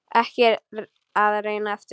Ekki að reyna aftur.